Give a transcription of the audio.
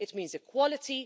it means equality